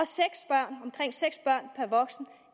omkring seks børn per voksen